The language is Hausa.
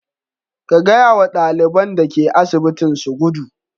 Ka gaya wa ɗaliban da ke asibitin su gudu.